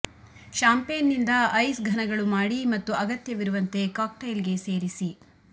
champagne ನಿಂದ ice ಘನಗಳು ಮಾಡಿ ಮತ್ತು ಅಗತ್ಯವಿರುವಂತೆ ಕಾಕ್ಟೈಲ್ಗೆ ಸೇರಿಸಿ